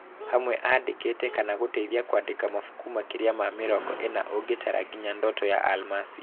Hamwe andĩkĩte kana gũteithia kwandĩka mabuku makĩria ma mĩrongo ĩna ũgĩtara nginya Ndoto ya Almasi.